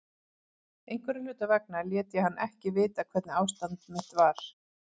Einhverra hluta vegna lét ég hann ekki vita hvernig ástand mitt var.